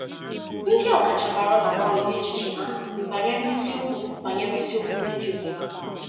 Ndị ọkachamara na-agbanwedị echiche ha banyere isiokwu banyere isiokwu ndị dị otú ahụ.